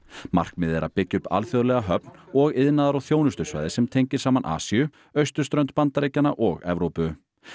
markmiðið er að byggja upp alþjóðlega höfn og iðnaðar og þjónustusvæði sem tengir saman Asíu austurströnd Bandaríkjanna og Evrópu